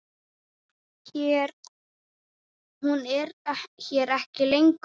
Hún er hér ekki lengur.